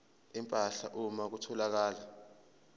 empahla uma kutholakala